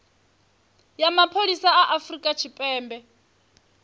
ya mapholisa a afurika tshipembe